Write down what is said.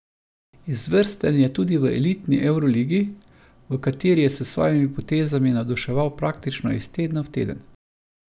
Izvrsten je tudi v elitni evroligi, v kateri je s svojimi potezami navduševal praktično iz tedna v teden.